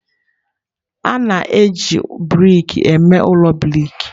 A na-eji brik eme ụlọ brik.